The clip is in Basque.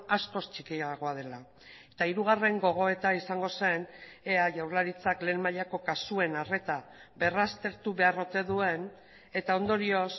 askoz txikiagoa dela eta hirugarren gogoeta izango zen ea jaurlaritzak lehen mailako kasuen arreta berraztertu behar ote duen eta ondorioz